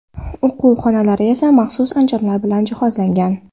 O‘quv xonalari esa maxsus anjomlar bilan jihozlangan.